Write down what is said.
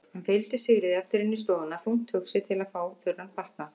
Hann fylgdi Sigríði eftir inn í stofuna, þungt hugsi, til þess að fá þurran fatnað.